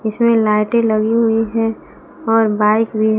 इसमें लाइटें लगी हुई है और बाइक भी--